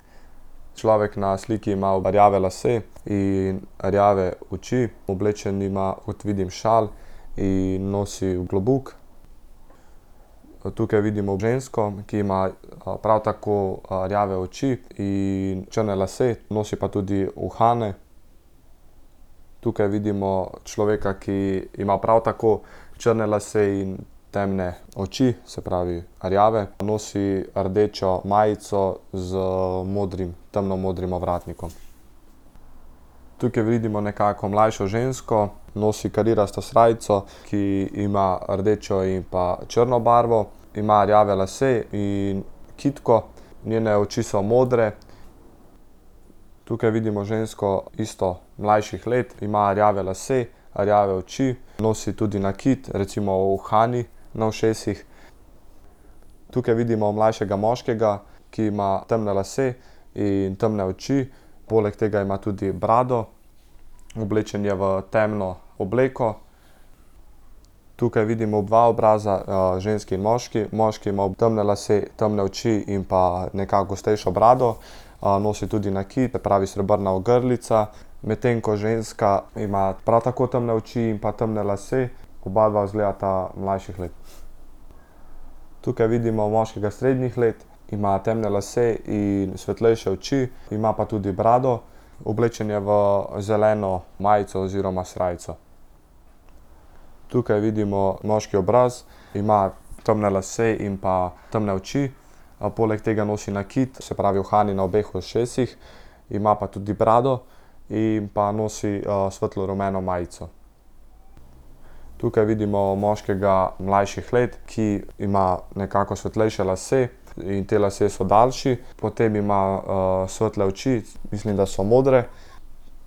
Človek na sliki ima rjave lase in rjave oči, oblečen ima, kot vidim, šal in nosi klobuk. tukaj vidimo žensko, ki ima, prav tako rjave, oči in črne lase. Nosi pa tudi uhane. Tukaj vidimo človeka, ki ima prav tako črne lase in temne oči, se pravi rjave. Nosi rdečo majico z modrim, temno modrim ovratnikom. Tukaj vidimo nekako mlajšo žensko, nosi karirasto srajco, ki ima rdečo in pa črno barvo. Ima rjave lase in kitko, njene oči so modre. Tukaj vidimo žensko isto mlajših let, ima rjave lase, rjave oči, nosi tudi nakit, recimo uhani na ušesih. Tukaj vidimo mlajšega moškega, ki ima temne lase in temne oči. Poleg tega ima tudi brado, oblečen je v temno obleko. Tukaj vidimo dva obraza, ženski in moški. Moški ima temne lase, temne oči in pa nekako gostejšo brado. nosi tudi nakit, se pravi srebrna ogrlica, medtem ko ženska ima prav tako temne oči in pa temne lase. Obadva izgledata mlajših let. Tukaj vidimo moškega srednjih let, ima temne lase in svetlejše oči, ima pa tudi brado, oblečen je v zeleno majico oziroma srajco. Tukaj vidimo moški obraz, ima temne lase in pa temne oči. poleg tega nosi nakit, se pravi, uhani na obeh ušesih. Ima pa tudi brado, in pa nosi, svetlo rumeno majico. Tukaj vidimo moškega mlajših let, ki ima nekako svetlejše lase in ti lasje so daljši. Potem ima, svetle oči, mislim, da so modre.